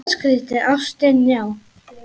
Ástin, já!